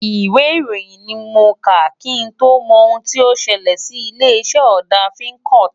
Ìwé ìròyìn ni mo kà, kí n tó mọ ohun tí ó ṣẹlẹ̀ sí ilé-iṣẹ́ ọ̀dà Fincoat.